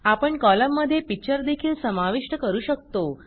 आपण कॉलममध्ये पिक्चर देखील समाविष्ट करू शकतो